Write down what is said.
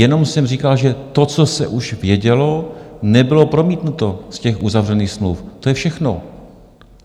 Jenom jsem říkal, že to, co se už vědělo, nebylo promítnuto z těch uzavřených smluv, to je všechno.